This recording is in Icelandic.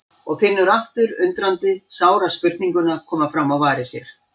Og finnur aftur undrandi sára spurninguna koma fram á varir sér